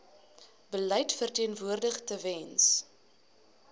beleid verteenwoordig tewens